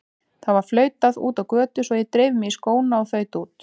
Það var flautað úti á götu svo ég dreif mig í skóna og þaut út.